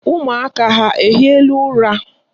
Ụmụaka ha ehiela ụra?